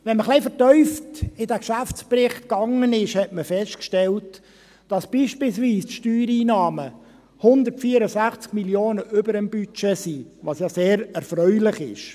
Wenn man etwas vertieft in diesen Geschäftsbericht ging, stellte man fest, dass beispielsweise die Steuereinnahmen 164 Mio. Franken über dem Budget liegen, was ja sehr erfreulich ist.